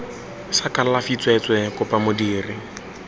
sa kalafi tsweetswee kopa modiri